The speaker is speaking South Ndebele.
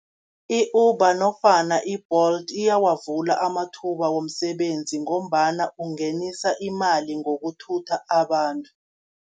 I-Uber nofana i-Bolt iyawavula amathuba womsebenzi, ngombana ungenisa imali ngokuthutha abantu.